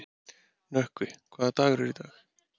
Nökkvi, hvaða dagur er í dag?